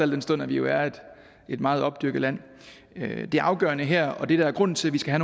den stund at vi jo har et meget opdyrket land det afgørende her og det der er grunden til at vi skal